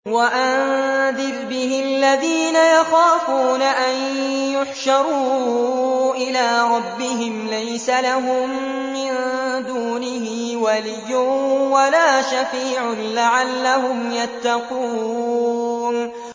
وَأَنذِرْ بِهِ الَّذِينَ يَخَافُونَ أَن يُحْشَرُوا إِلَىٰ رَبِّهِمْ ۙ لَيْسَ لَهُم مِّن دُونِهِ وَلِيٌّ وَلَا شَفِيعٌ لَّعَلَّهُمْ يَتَّقُونَ